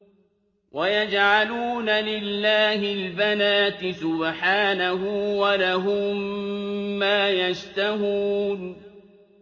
وَيَجْعَلُونَ لِلَّهِ الْبَنَاتِ سُبْحَانَهُ ۙ وَلَهُم مَّا يَشْتَهُونَ